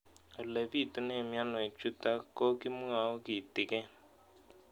Ole pitune mionwek chutok ko kimwau kitig'�n